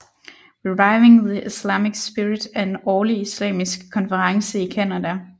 Reviving the Islamic Spirit er en årlig islamisk konference i Canada